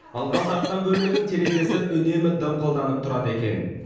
ылғал тартқан бөлменің терезесі үнемі дымқылданып тұрады екен